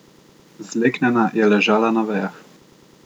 Zleknjena je ležala na vejah.